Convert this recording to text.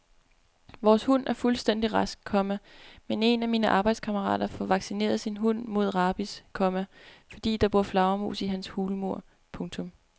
Vores hund er fuldstændig rask, komma men en af mine arbejdskammerater får vaccineret sin hund mod rabies, komma fordi der bor flagermus i hans hulmur. punktum